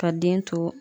Ka den to